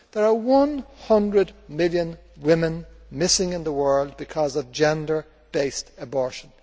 There are 100 million women missing in the world because of gender based abortion.